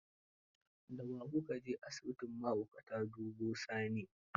Da wa ku ka je asibitin mahaukatan duba Sani?